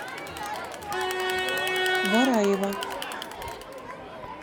вараева